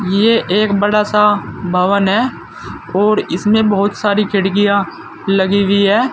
ये एक बड़ा सा भवन है और इसमें बहोत सारी खिड़कियां लगी हुई हैं।